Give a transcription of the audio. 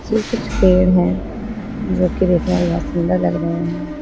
ये कुछ पेड़ है जो कि देखने में बहुत सुंदर लग रहे है।